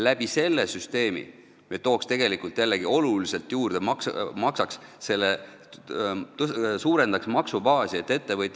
Selle süsteemiga me tooks jällegi oluliselt raha juurde, suurendaks maksubaasi.